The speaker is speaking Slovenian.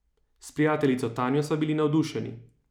S prijateljco Tanjo sva bili navdušeni.